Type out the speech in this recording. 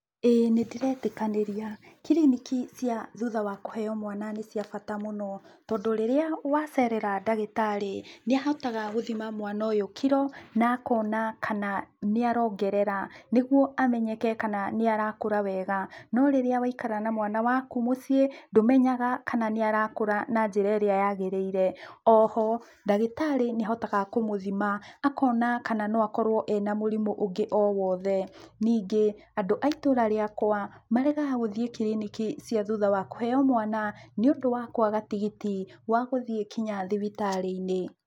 Ĩĩ nĩndĩretĩkanĩria. Kiriniki cia thutha wa kũheo mwana nĩ cia bata mũno, tondũ rĩrĩa wacerera ndagĩtarĩ, nĩahotaga gũthima mwana ũyũ kilo, na akona kana nĩarongerera, nĩguo amenyeke kana nĩarakũra wega. No rĩrĩa waikara na mwana waku mũciĩ, ndũmenyaga kana nĩarakũra na njĩra ĩrĩa yagĩrĩire. Oho, ndagĩtarĩ nĩahotaga kũmũthima, akona kana no akorũo ena mũrimũ ũngĩ o wothe. Ningĩ, andũ a itũra rĩakwa, maregaga gũthiĩ kiriniki cia thutha wa kũheo mwana, nĩũndũ wa kwaga tigiti, wa gũthiĩ kinya thibitarĩ-inĩ.